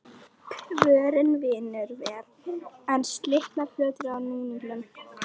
Kvörnin vinnur vel, en slitnar fljótt af núningnum.